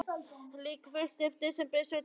Lýk upp fyrsta desember svo dúskur rifnar af húfu.